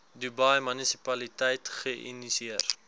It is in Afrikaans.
dubai munisipaliteit geïnisieer